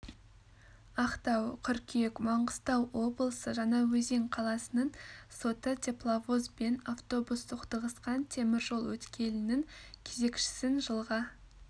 актау қыркүйек маңғыстау облысы жаңаөзен қаласының соты тепловоз бен автобус соқтығысқан темір жол өткелінің кезекшісін жылға